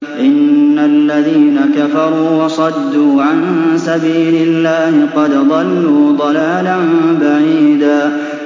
إِنَّ الَّذِينَ كَفَرُوا وَصَدُّوا عَن سَبِيلِ اللَّهِ قَدْ ضَلُّوا ضَلَالًا بَعِيدًا